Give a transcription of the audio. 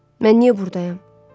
Mən niyə burdayam?